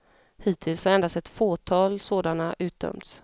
Hittills har endast ett fåtal sådana utdömts.